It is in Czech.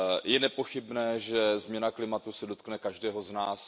Je nepochybné, že změna klimatu se dotkne každého z nás.